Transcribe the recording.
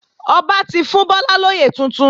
Ọba ti fún Bọ́lá lóyè tuntun